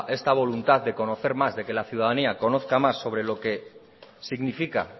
esta voluntad de conocer más de que la ciudadanía conozca más sobre lo que significa